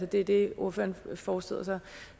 det det ordføreren forestiller sig